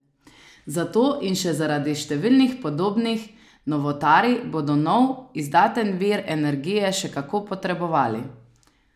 Zato in še zaradi številnih podobnih novotarij bodo nov, izdaten vir energije še kako potrebovali!